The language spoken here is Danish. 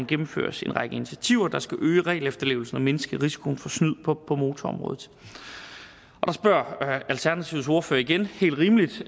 gennemføres en række initiativer der skal øge regelefterlevelsen og mindske risikoen for snyd på på motorområdet der spørger alternativets ordfører igen helt rimeligt